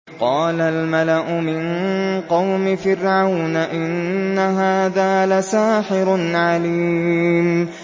قَالَ الْمَلَأُ مِن قَوْمِ فِرْعَوْنَ إِنَّ هَٰذَا لَسَاحِرٌ عَلِيمٌ